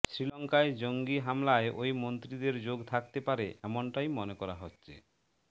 শ্রীলঙ্কায় জঙ্গি হামলায় ওই মন্ত্রীদের যোগ থাকতে পারে এমনটাই মনে করা হচ্ছে